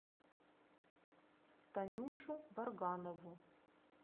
танюшу варганову